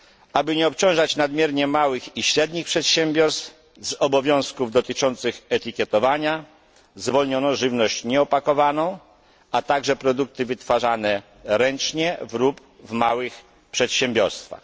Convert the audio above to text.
Aby nie obciążać nadmiernie małych i średnich przedsiębiorstw, z obowiązków dotyczących etykietowania zwolniono żywność nieopakowaną, a także produkty wytwarzane ręcznie lub w małych przedsiębiorstwach.